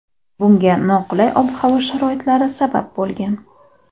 Bunga noqulay ob-havo sharoitlari sabab bo‘lgan .